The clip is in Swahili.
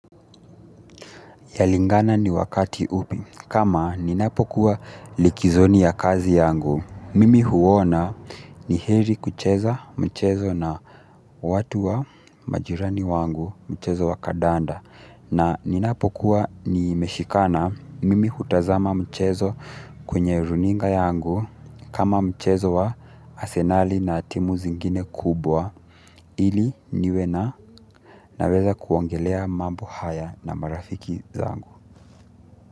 Yalingana ni wakati upi kama ninapokuwa likizoni ya kazi yangu. Mimi huona ni heri kucheza mchezo na watu wa majirani wangu mchezo wa kadanda. Na ninapokuwa ni meshikana mimi hutazama mchezo kwenye runinga yangu kama mchezo wa asenali na timu zingine kubwa ili niwena naweza kuongelea mambo haya na marafiki zangu.